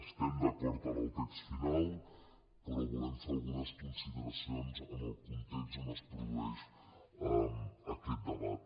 estem d’acord amb el text final però volem fer algunes consideracions sobre el context en què es produeix aquest debat